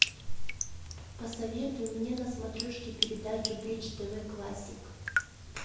посоветуй мне на смотрешке передачу бридж тв классик